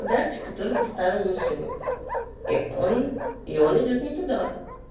датчика тоже поставил машину и он и он идёт не туда